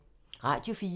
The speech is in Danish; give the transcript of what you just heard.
Radio 4